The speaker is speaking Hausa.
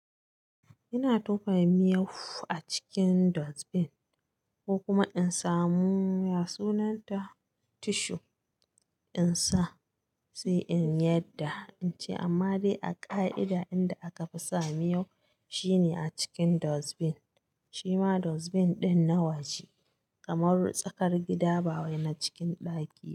Ina tuƙa miyau a cikin dustbin ko kuma in samu, ya sunanta? Tissue in sa, sai in yadda in ci. Amma dai a ƙa'ida inda aka fi sa miyau shine a cikin dustbin. Shima dustbin ɗin nawaje kamar tsakar gida, ba wai na cikin ɗaki.